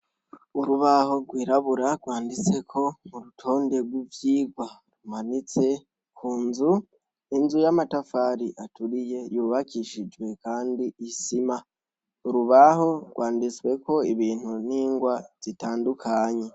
Urubaho rwirabura rwanditseko urutonde rw'ivyirwa ruhometse kunzu ,inzu y'amatafari aturiye yubakishijwe kandi isima, urubaho rwanditsweko ibintu n'ingwa zitandukanye